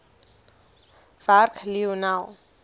werk lionel